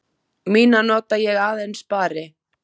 Mína nota ég aðeins spari.